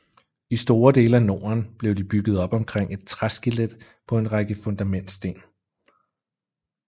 I store dele af Norden blev de bygget op omkring et træskelet på en række fundamentsten